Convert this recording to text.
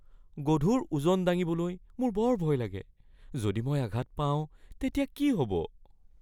গধুৰ ওজন দাঙিবলৈ মোৰ বৰ ভয় লাগে। যদি মই আঘাত পাওঁ তেতিয়া কি হ’ব?